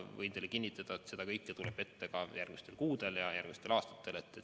Võin teile kinnitada, et seda kõike tuleb ette ka järgmistel kuudel ja järgmistel aastatel.